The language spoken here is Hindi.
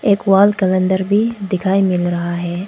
एक वॉल कलेंडर भी दिखाई मिल रहा है।